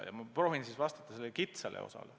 Ma proovin vastata sellele kitsale osale.